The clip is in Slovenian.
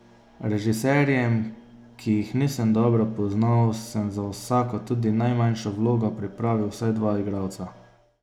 Režiserjem, ki jih nisem dobro poznal, sem za vsako tudi najmanjšo vlogo pripravil vsaj dva igralca.